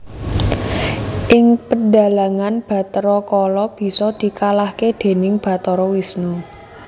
Ing pedhalangan Bathara Kala bisa dikalahaké déning Bathara Wisnu